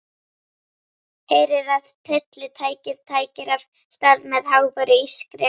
Heyrir að tryllitækið tætir af stað með háværu ískri.